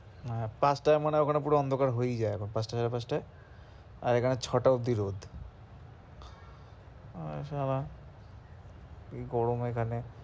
আহ পাঁচটায় মনে হয় ওখানে পুরো অন্ধকার হয়েই যায় পাঁচটায় সাড়ে পাঁচটায় আর এখানে ছটা অব্দি রোদ। আর সালা কি গরম এখানে।